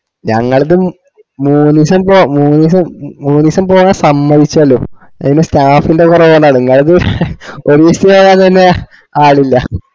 ഞങ്ങളതും മൂന്നീസം പോ മൂന്നിസം മൂന്നിസം പോവാ സമ്മതിച്ചലും അത് തന്നെ staff ൻറെ കൊറവോണ്ടാണ്